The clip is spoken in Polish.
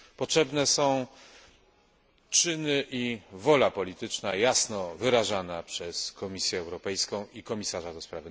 Potrzebne są czyny i wola polityczna jasno wyrażana przez Komisję Europejską i komisarza ds.